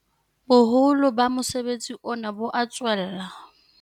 Boholo ba mosebetsi ona bo a tswella.